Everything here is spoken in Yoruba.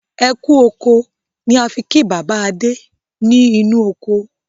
"Ẹkú oko" ni á fi kí bàbá Adé ni inu oko